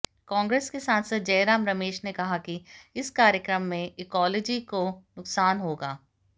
कांग्रेस के सांसद जयराम रमेश ने कहा कि इस कार्यक्रम से इकोलॉजी को नुकसान होगा